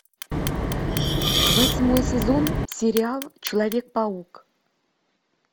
восьмой сезон сериал человек паук